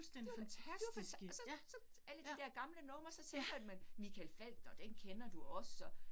Det var, det var og så så alle de dér gamle numre, så tænker man Michael Falch, nåh den kender du også